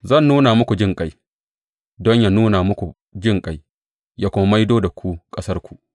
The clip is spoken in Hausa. Zan nuna muku jinƙai don yă nuna muku jinƙai ya kuma maido da ku ƙasarku.’